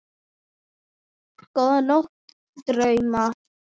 Góða nótt og drauma.